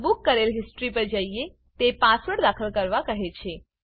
book કરેલ history પર જઈએ તે પાસવર્ડ દાખલ કરવા કહે છે